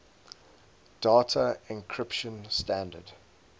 data encryption standard